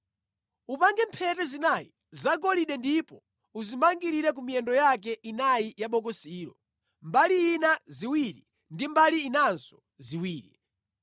Upange mphete zinayi zagolide ndipo uzimangirire ku miyendo yake inayi ya bokosilo, mbali ina ziwiri ndi mbali inanso ziwiri.